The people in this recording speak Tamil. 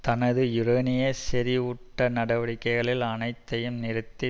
தனது யுரேனிய செறிவூட்ட நடவடிக்கைகள் அனைத்தையும் நிறுத்தி